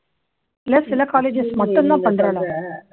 இல்ல சில colleges மட்டும் தான் பண்றாலா